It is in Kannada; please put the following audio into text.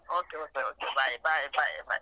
Okay okay okay bye bye bye .